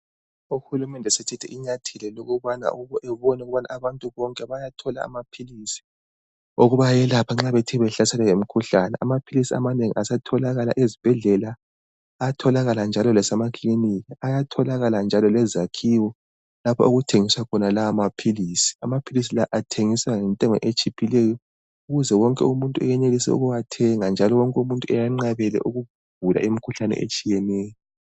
Uhulumende sethethe inyathelo lokubana abantu bonke bayathola amaphilisi okubayelapha nxa bethe behlaselwa yimikhuhlane amaphilisi amanengi asetholakala ezibhedlela, ayatholakala njalo lase ma kilinika , ayatholakala njalo lezakhiwo lapho okuthengiswa khona lawo maphilisi, amaphilisi lawo athengiswa ngentengo etshiphileyo ukuze wonke umuntu eyenelise ukuwathenga njalo wonke umuntu eyanqabele ukugula imikhuhlane etshiyeneyo.